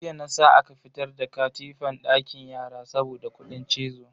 Jiya na sa aka fitar da katifan dakin yara saboda kudin cizo.